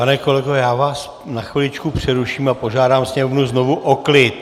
Pane kolego, já vás na chviličku přeruším a požádám sněmovnu znovu o klid!